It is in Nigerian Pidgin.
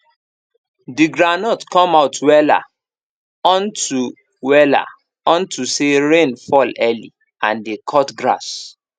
the groundnut come out wella unto wella unto say rain fall early and dey cut grass